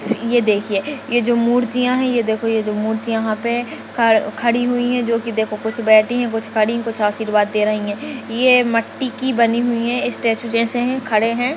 ये देखिए ये जो मूर्तिया है ये देखो ये मूर्ति यहाँ पे ख खड़ी हुई है जो की देखो कुछ बैठी है कुछ खड़ी है कुछ आशीर्वाद दे रही है ये मट्टी की बनी हुई है स्टेचू जैसे है खड़े है।